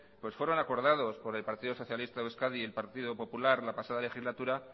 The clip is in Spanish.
pues fueron acordados por el partido socialista de euskadi y el partido popular la pasada legislatura